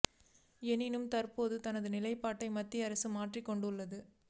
எனினும் தற்போது தனது நிலைப்பாட்டை மத்திய அரசு மாற்றிக் கொண்டுள்ளது